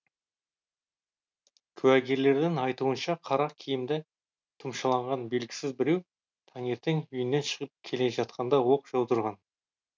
куәгерлердің айтуынша қара киімді тұмшалағанған белгісіз біреу таңертең үйінен шығып келе жатқанда оқ жаудырған